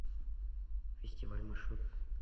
фестиваль маршрут